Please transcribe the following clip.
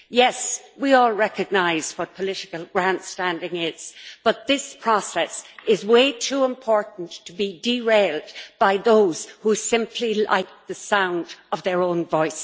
Yes, we all recognise what political grandstanding is, but this process is way too important to be derailed by those who simply like the sound of their own voices.